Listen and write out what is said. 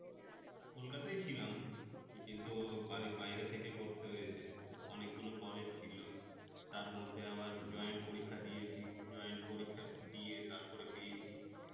কলকাতায় ছিলাম, কিন্তু বাড়ির বাইরে থেকে করতেছে অনেকগুলো college ছিল, তার মধ্যে আবার joint পরীক্ষা দিয়েছি joint পরীক্ষা দিয়ে তারপরে BAC